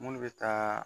Munnu bɛ taa